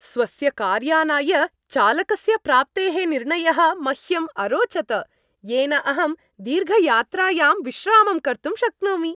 स्वस्य कार्यानाय चालकस्य प्राप्तेः निर्णयः मह्यम् अरोचत येन अहं दीर्घयात्रायां विश्रामं कर्तुं शक्नोमि।